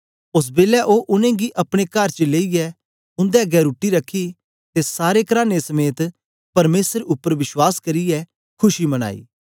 ओस बेलै ओ उनेंगी अपने कर च लेईयै उन्दे अगें रुट्टी रखी ते सारे कराने समेत परमेसर उपर विश्वास करियै खुशी मनाई